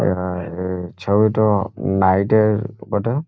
এ এ ছবিতো নাইট এর বটে।